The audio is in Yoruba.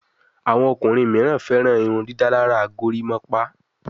Àwọn ọkùnrin míràn féràn irundidalara gorimopa.